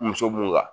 Muso mun ka